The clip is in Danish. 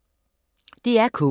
DR K